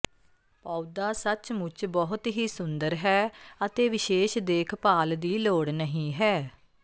ਪੌਦਾ ਸੱਚਮੁੱਚ ਬਹੁਤ ਹੀ ਸੁੰਦਰ ਹੈ ਅਤੇ ਵਿਸ਼ੇਸ਼ ਦੇਖਭਾਲ ਦੀ ਲੋੜ ਨਹੀ ਹੈ